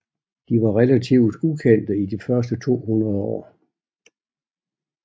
De var relativt ukendte i de første to hundrede år